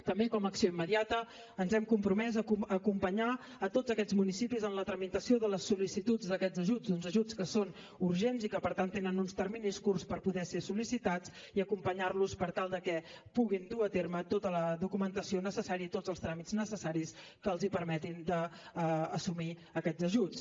també com a acció immediata ens hem compromès a acompanyar tots aquests municipis en la tramitació de les sol·licituds d’aquests ajuts uns ajuts que són urgents i que per tant tenen uns terminis curts per poder ser sol·licitats i acompanyar los per tal que puguin dur a terme tota la documentació necessària i tots els tràmits necessaris que els permetin d’assolir aquests ajuts